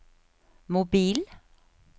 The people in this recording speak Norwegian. mobil